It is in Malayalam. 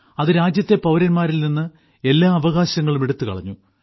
അത് രാജ്യത്തെ പൌരന്മാരിൽ നിന്ന് എല്ലാ അവകാശങ്ങളും എടുത്തുകളഞ്ഞു